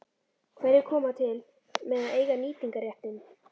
Hverjir koma til með að eiga nýtingarréttinn?